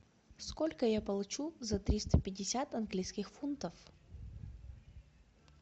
сколько я получу за триста пятьдесят английских фунтов